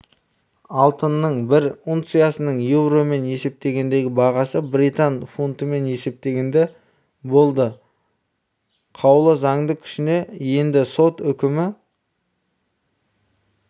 алтынның бір унциясының еуромен есептегендегі бағасы британ фунтымен есептегенде болды қаулы заңды күшіне енді сот үкімі